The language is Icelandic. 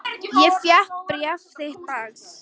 Ég fékk bréf þitt dags.